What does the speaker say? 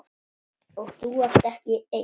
Og þú ert ekki einn.